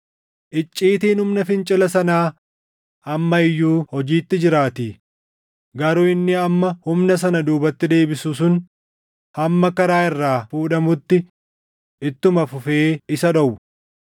Icciitiin humna fincila sanaa amma iyyuu hojiitti jiraatii; garuu inni amma humna sana duubatti deebisu sun hamma karaa irraa fuudhamutti ittuma fufee isa dhowwa.